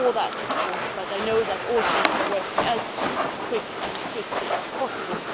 We deplore that, of course, but I know that all countries are working as quickly and swiftly as possible.